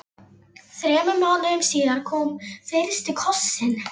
Þremur mánuðum síðar kom fyrsti kossinn.